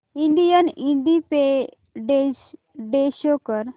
Indian Independence Day show कर